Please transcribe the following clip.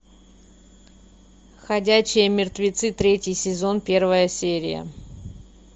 ходячие мертвецы третий сезон первая серия